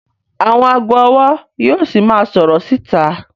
Àwọn ago ọwọ yíò sì máa sọrọ síta